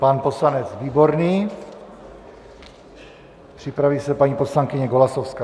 Pan poslanec Výborný, připraví se paní poslankyně Golasowská.